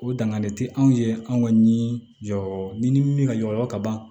O dangani tɛ anw ye anw ka ni jɔyɔrɔ ni min ka jɔyɔrɔ ka ban